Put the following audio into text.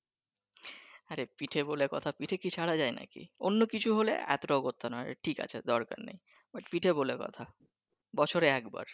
আরেহ পিঠে বলে কথা অন্য কিছু হলে এতোটা করতো নাহ ঠিক আছে দরকার নেই পিঠে বলে কথা বছরে একবার